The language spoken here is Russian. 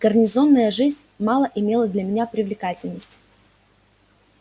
гарнизонная жизнь мало имела для меня привлекательности